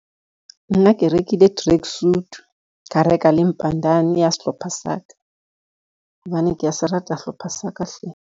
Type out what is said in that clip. Nna ke rekile tracksuit, ka reka le ya sehlopha sa ka, hobane kea se rata sehlopha sa ka hle.